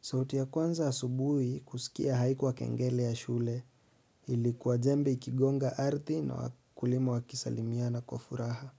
sauti ya kwanza asubui kusikia haikuwa kengele ya shule. Ilikuwa jembe ikigonga ardhi na wakulima wakisalimiana kwa furaha.